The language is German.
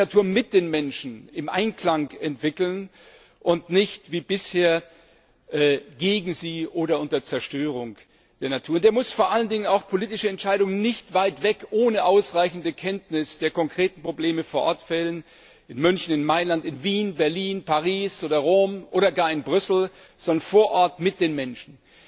Der muss die Natur im Einklang mit den Menschen entwickeln und nicht wie bisher gegen sie oder unter Zerstörung der Natur. Und er muss vor allen Dingen auch politische Entscheidungen nicht weit weg ohne ausreichende Kenntnis der konkreten Probleme vor Ort fällen in München, in Mailand, in Wien, Berlin, Paris oder Rom oder gar in Brüssel sondern vor Ort mit den Menschen.